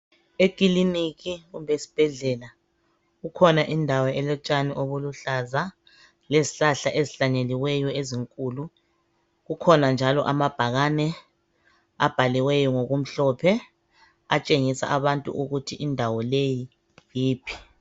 Ekiliniki kumbe esibhedlela kukhona indawo elotshani obuluhlaza lezihlahla ezihlanyeliweyo ezinkulu kukhona njalo amabhakane abhaliweyo ngokumhlophe atshengisa abantu ukuthi indawo leyi yiphi